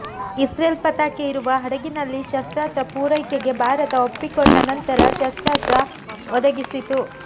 Israel ಪತಾಕೆ ಇರುವ ಹಡಗಿನಲ್ಲಿ ಶಸ್ತ್ರಾಸ್ತ್ರ ಪೂರೈಕೆಗೆ ಭಾರತ ಒಪ್ಪಿಕೊಂಡ ನಂತರ ಶಸ್ತ್ರಾಸ್ತ್ರ ಒದಗಿಸಿತು